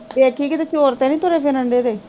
ਵੇਖੀ ਕਿਤੇ ਚੋਰ ਤੇ ਨੀ ਤੁਰੇ ਫਿਰਨ ਡਏ ਦੇ